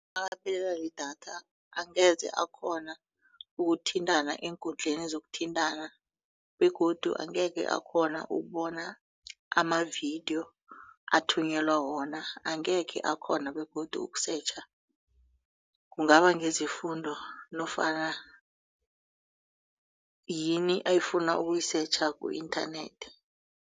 Makaphelele lidatha angeze akghona ukuthintana eenkundleni zokuthintana begodu angekhe akghona ukubona amavidiyo athuyelelwa wona angekhe akghona begodu ukusetjha kungaba ngezefundo nofana yini ayifuna ukuyisetjha ku-internet.